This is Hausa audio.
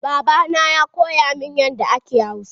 Baba na ya koya min yadda ake Hausa.